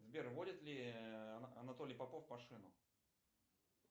сбер водит ли анатолий попов машину